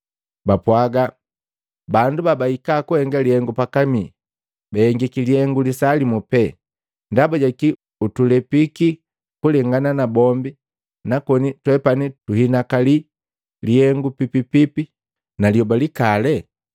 Bapwaga, ‘Bandu babahika kuhenga lihengu pakamii, bahengiki lihengu lisaa limu pee, ndaba ja kii utulepiki kulengana na bombi nakoni twepani tuhinakali lihengu pipipipi na lyoba likali?’ ”